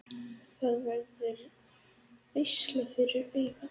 Það verður veisla fyrir augað.